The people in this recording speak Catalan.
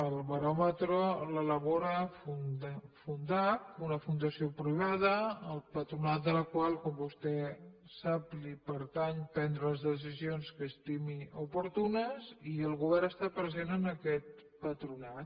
el baròmetre l’elabora fundacc una fundació privada al patronat de la qual com vostè sap li pertany prendre les decisions que estimi oportunes i el govern està present en aquest patronat